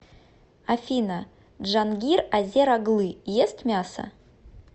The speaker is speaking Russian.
афина джангир азер оглы ест мясо